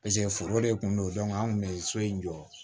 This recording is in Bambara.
foro de kun don an kun be so in jɔ